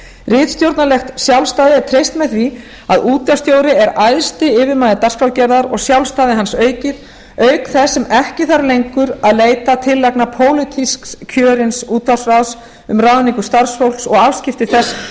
ritstjórnarlegt sjálfstæði er treyst með því að útvarpsstjóri er æðsti yfirmaður dagskrárgerðar og sjálfstæði hans aukið auk þess sem ekki þarf lengur að leita tillagna pólitísks kjörins útvarpsráðs um ráðningu starfshóps og afskipti þess af